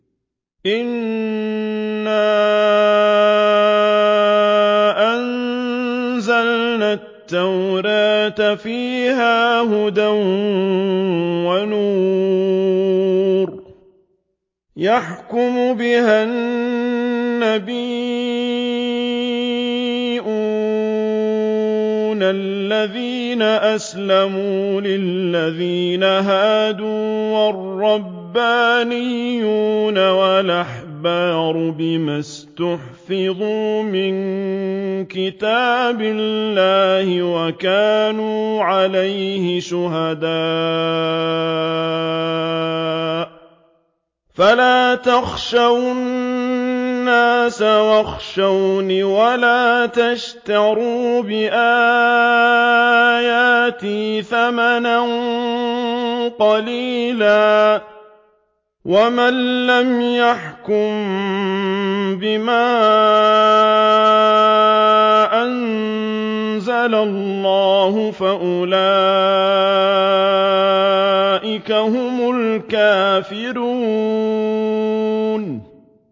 إِنَّا أَنزَلْنَا التَّوْرَاةَ فِيهَا هُدًى وَنُورٌ ۚ يَحْكُمُ بِهَا النَّبِيُّونَ الَّذِينَ أَسْلَمُوا لِلَّذِينَ هَادُوا وَالرَّبَّانِيُّونَ وَالْأَحْبَارُ بِمَا اسْتُحْفِظُوا مِن كِتَابِ اللَّهِ وَكَانُوا عَلَيْهِ شُهَدَاءَ ۚ فَلَا تَخْشَوُا النَّاسَ وَاخْشَوْنِ وَلَا تَشْتَرُوا بِآيَاتِي ثَمَنًا قَلِيلًا ۚ وَمَن لَّمْ يَحْكُم بِمَا أَنزَلَ اللَّهُ فَأُولَٰئِكَ هُمُ الْكَافِرُونَ